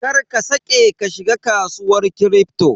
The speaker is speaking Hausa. Kar ka saƙe ka shiga kasuwar Kripto.